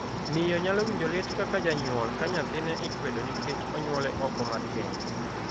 Miyo nyalo winjo lit kaka janyuol ka nyathine ikwedo nikech onyuole oko mar keny.